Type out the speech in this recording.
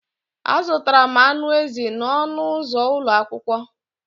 Azụtara m anụ ezi n'ọnụ ụzọ ụlọ akwụkwọ.